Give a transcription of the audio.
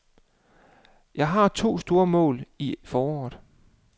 Jeg har to store mål i foråret.